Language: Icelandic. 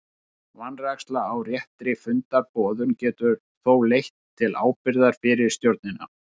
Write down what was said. Vanræksla á réttri fundarboðun getur þó leitt til ábyrgðar fyrir stjórnina.